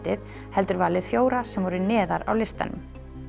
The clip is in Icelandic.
heldur valið fjóra sem voru neðar á listanum